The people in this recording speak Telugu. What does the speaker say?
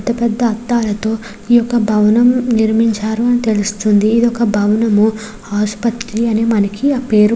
పెద్ధ పెద్ధ అద్దాలతో ఈ యొక్క భవనం నిర్మించారు అని తెలుస్తున్నది ఇది ఒక భవనము ఆసుపత్రి అని మనకి ఆ పేరు --